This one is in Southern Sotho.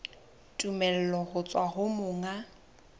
tumello ho tswa ho monga